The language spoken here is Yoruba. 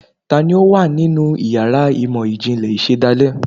Taní o wa ninú ìyára imọ ijinlẹ ìsedálẹ?